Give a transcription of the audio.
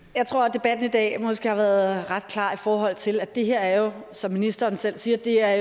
debatten i dag har været ret klar i forhold til at det her jo som ministeren selv siger er